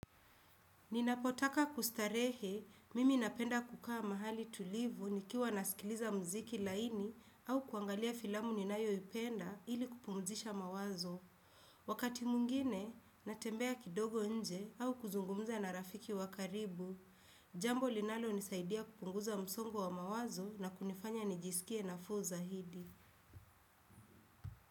Ninapotaka kustarehe, mimi napenda kukaa mahali tulivu nikiwa nasikiliza muziki laini au kuangalia filamu ninayoipenda ili kupumzisha mawazo. Wakati mwingine, natembea kidogo nje au kuzungumza na rafiki wa karibu. Jambo linalonisaidia kupunguza msongo wa mawazo na kunifanya nijisikie nafuu zaidi.